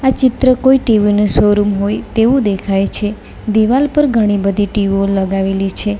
ચિત્ર કોઈ ટીવી નો શો રૂમ હોય તેવું દેખાય છે દિવાલ પર ઘણી બધી ટીવો લગાવેલી છે.